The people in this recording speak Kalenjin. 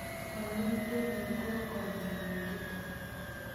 boiyotnyun ko kanyaindet